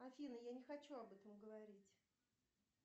афина я не хочу об этом говорить